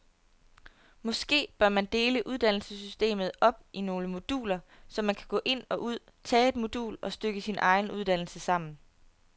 Måske bør man dele uddannelsessystemet op i nogle moduler, så man kan gå ind og ud, tage et modul og stykke sin egen uddannelse sammen.